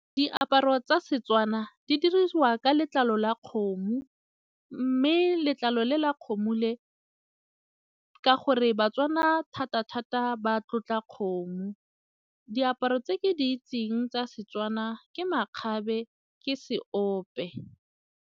Diaparo tsa Setswana di diriwa ka letlalo la kgomo mme letlalo le la kgomo le ka gore ba-Tswana thata thata ba tlotla kgomo, diaparo tse ke di itseng tsa Setswana ke makgabe ke seope.